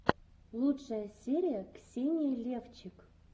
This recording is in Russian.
лучшая серия ксения левчик